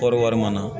Kɔɔri wari mara